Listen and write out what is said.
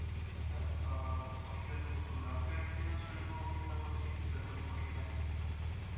अ त्यांनी सर्वांना एकजुटीने राहा असेच सांगितले आहे. व जात धर्म हे असे काही नसते असे त्यांनी सांगितले आहे. जात धर्म मानु नये असे त्यांचे म्हणे होते.